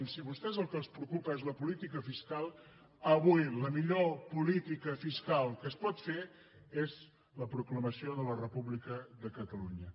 si a vostès el que els preocupa és la política fiscal avui la millor política fiscal que es pot fer és la proclamació de la república de catalunya